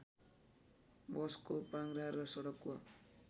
बसको पाङ्ग्रा र सडकको